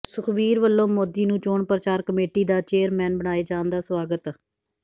ਸੁਖਬੀਰ ਵਲੋਂ ਮੋਦੀ ਨੂੰ ਚੋਣ ਪ੍ਰਚਾਰ ਕਮੇਟੀ ਦਾ ਚੇਅਰਮੈਨ ਬਣਾਏ ਜਾਣ ਦਾ ਸਵਾਗਤ